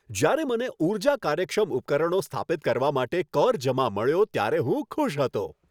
જ્યારે મને ઊર્જા કાર્યક્ષમ ઉપકરણો સ્થાપિત કરવા માટે કર જમા મળ્યો ત્યારે હું ખુશ હતો.